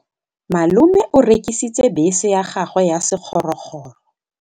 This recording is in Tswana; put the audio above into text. Malome o rekisitse bese ya gagwe ya sekgorokgoro.